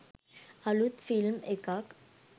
අලුත් ෆිල්ම් එකක්